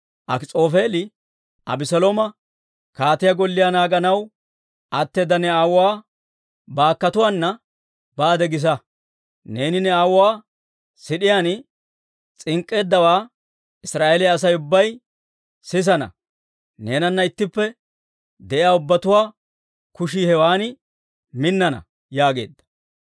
Akis'oofeeli Abeselooma, «Kaatiyaa golliyaa naaganaw atteeda ne aawuwaa baakkotuwaana baade gisa; neeni ne aawuwaa siid'iyaan s'ink'k'eeddawaa Israa'eeliyaa Asay ubbay sisana; neenana ittippe de'iyaa ubbatuwaa kushii hewan minnana» yaageedda.